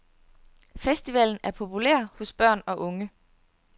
Festivalen er populær hos børn og unge.